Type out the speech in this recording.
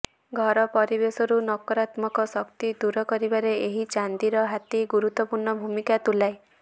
ଘର ପରିବେଶରୁ ନକାରାତ୍ମକ ଶକ୍ତି ଦୂର କରିବାରେ ଏହି ଚାନ୍ଦିର ହାତୀ ଗୁରୁତ୍ବପୂର୍ଣ୍ଣ ଭୂମିକା ତୁଲାଏ